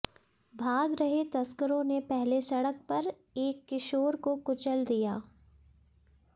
भाग रहे तस्करों ने पहले सड़क पर एक किशोर को कुचल दिया